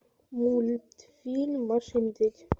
мультфильм маша и медведь